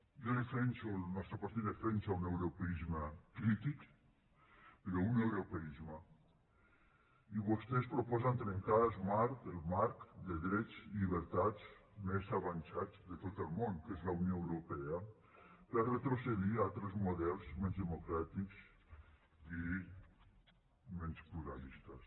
jo defenso el nostre partit defensa un europeisme crític però un europeisme i vostès proposen trencar el marc de drets i llibertats més avançat de tot el món que és la unió europea per retrocedir a altres models menys democràtics i menys pluralistes